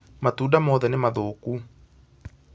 Matunda moothe nĩ mathũku